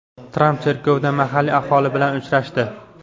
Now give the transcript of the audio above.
Tramp cherkovda mahalliy aholi bilan uchrashdi.